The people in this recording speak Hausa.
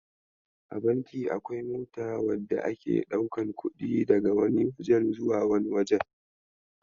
A banki akwai mota wadda ake daukan kudi daga wani waje zuwa wani waje.